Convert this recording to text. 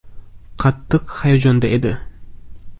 Qattiq hayajonda edi.